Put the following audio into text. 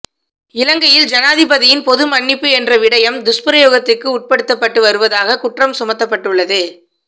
இலங்கையில் ஜனாதிபதியின் பொது மன்னிப்பு என்ற விடயம் துஸ்பிரயோகத்துக்கு உட்படுத்தப்பட்டு வருவதாக குற்றம் சுமத்தப்பட்டுள்ளது